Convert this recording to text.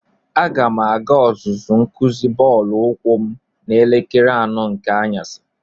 Aga m aga ọzụzụ nkuzi bọọlụ ukwu m n'elekere anọ nke anyasi.